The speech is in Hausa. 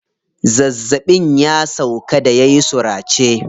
Zazzaɓin ya sauƙa da yayi surace.